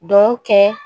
Duw kɛ